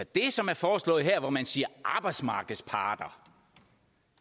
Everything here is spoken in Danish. det som er foreslået her hvor man siger arbejdsmarkedsparter